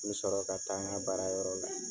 N bɛ sɔrɔ ka taa n ka baara yɔrɔ la.